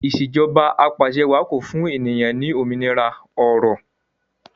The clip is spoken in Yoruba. Ìṣèjọba Apàṣẹwàá ko fún ènìyàn ní òmìnira ọrọ